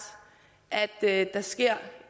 at det er rimeligt at der sker